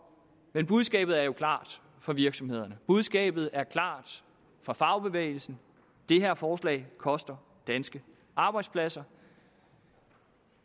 men budskabet er jo klart for virksomhederne budskabet er klart for fagbevægelsen det her forslag koster danske arbejdspladser